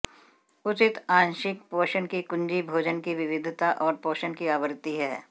उचित आंशिक पोषण की कुंजी भोजन की विविधता और पोषण की आवृत्ति है